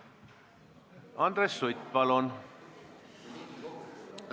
Andres Sutt, palun!